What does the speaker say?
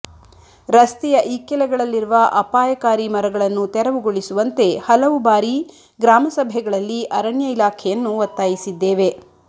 ರಸ್ತೆಯ ಇಕ್ಕೆಲಗಳಲ್ಲಿರುವ ಅಪಾಯಕಾರಿ ಮರಗಳನ್ನು ತೆರವುಗೊಳಿಸುವಂತೆ ಹಲವು ಬಾರಿ ಗ್ರಾಮಸಭೆಗಳಲ್ಲಿ ಅರಣ್ಯ ಇಲಾಖೆಯನ್ನು ಒತ್ತಾಯಿಸಿದ್ದೇವೆ